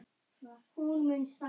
Hvernig meta þeir stöðuna núna?